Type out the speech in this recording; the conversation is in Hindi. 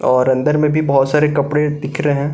और अंदर में भी बहोत सारे कपड़े दिख रहे हैं।